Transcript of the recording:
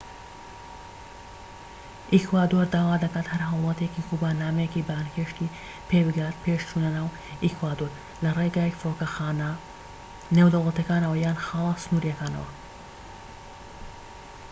ئیکوادۆر داوا دەکات هەر هاوڵاتیەکی کوبا نامەیەکی بانگهێشتی پێبگات پێش چونە ناو ئیکوادۆر لەڕێی فڕۆکەخانە نێودەوڵەتیەکانەوە یان خاڵە سنوریەکانەوە